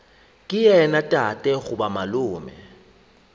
ke yena tate goba malome